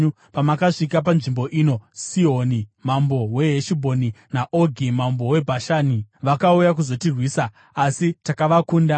Pamakasvika panzvimbo ino, Sihoni mambo weHeshibhoni naOgi mambo weBhashani vakauya kuzotirwisa, asi takavakunda.